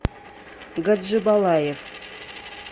гаджибалаев